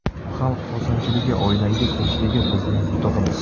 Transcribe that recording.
Xalq xursandchiligi oilangiz tinchligi bizning yutug‘imiz.